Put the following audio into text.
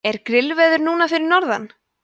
er grillveður núna fyrir norðan